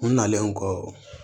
U nalen kɔ